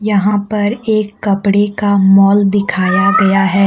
यहां पर एक कपड़े का मॉल दिखाया गया है।